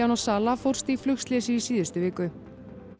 sala fórst í flugslysi í síðustu viku